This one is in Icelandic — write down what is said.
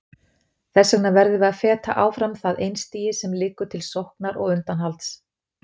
Þess vegna verðum við að feta áfram það einstigi sem liggur milli sóknar og undanhalds.